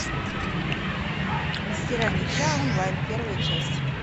мастера меча онлайн первая часть